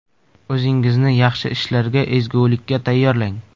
O‘zingizni yaxshi ishlarga, ezgulikka tayyorlang.